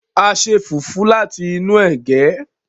a ṣe fufu láti inú ege.